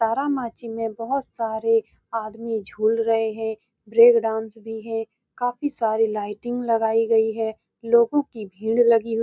तारामाची में बहुत सारे आदमी झूल रहें हैं ब्रेक डांस भी है काफी सारी लाइटिंग लगायी गयी है लोगों की भीड़ लगी हुई --